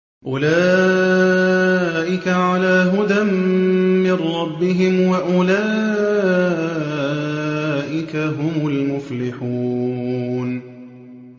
أُولَٰئِكَ عَلَىٰ هُدًى مِّن رَّبِّهِمْ ۖ وَأُولَٰئِكَ هُمُ الْمُفْلِحُونَ